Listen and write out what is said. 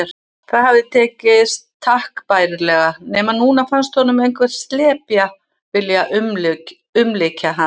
Það hafði tekist takk bærilega, nema núna fannst honum einhver slepja vilja umlykja hann.